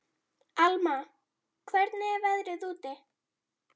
Alma, hvernig er veðrið úti?